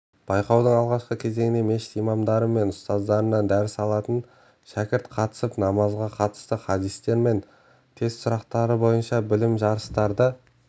байқаудың алғашқы кезеңіне мешіт имамдары мен ұстаздарынан дәріс алатын шәкірт қатысып намазға қатысты хадистер мен тест сұрақтары бойынша білім жарыстырды